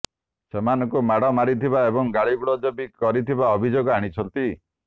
ସେମାନଙ୍କୁ ମାଡ ମାରିଥିବା ଏବଂ ଗାଳିଗୁଲଜ ବି କରିଥିବା ଅଭିଯୋଗ ଆଣିଛନ୍ତି